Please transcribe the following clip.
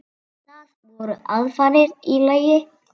Það voru aðfarir í lagi!